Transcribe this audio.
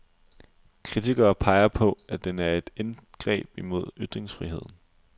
Kritikere peger på, at den er et indgreb imod ytringsfriheden.